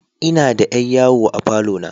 Ina da yar yawo a falo na.